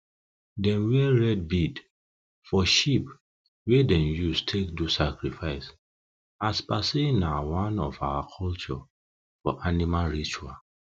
them wear red bead for sheep wey them use take do sacrifice as per say na one of our culture for animal ritual